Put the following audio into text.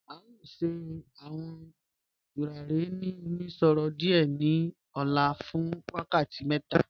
A yọ̀ọ̀ sẹ̀ awọn tùràrí nínu òmíṣọ̀rọ̀ adié ní ò̩là fún wákàtí mẹ́ta.